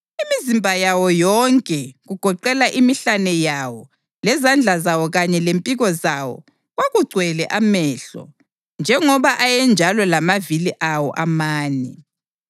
Imizimba yawo yonke, kugoqela imihlane yawo, lezandla zawo kanye lempiko zawo, kwakugcwele amehlo, njengoba ayenjalo lamavili awo amane.